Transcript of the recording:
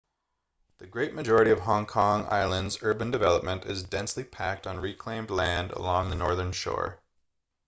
the great majority of hong kong island's urban development is densely packed on reclaimed land along the northern shore